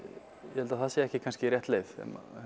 ég held að það sé ekki kannski rétt leið